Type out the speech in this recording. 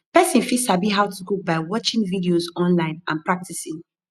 persin fit sabi how to cook by watching videos online and practicing